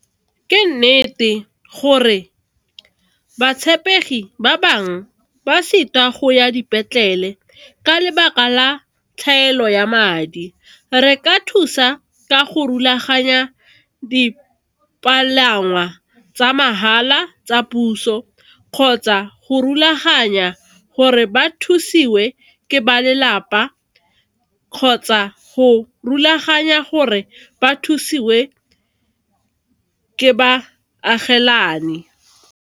Ke nnete gore batshameki ba bangwe ba go ya dipetlele ka lebaka la tlhaelo ya madi. Re ka thusa ka go rulaganya di dipalangwa tsa mahala, tsa puso kgotsa go rulaganya gore ba thusiwe ke ba lelapa, kgotsa go rulaganya gore ba thusiwe ke ba agelane.